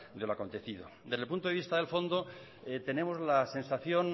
de lo acontecido desde el punto de vista del fondo tenemos la sensación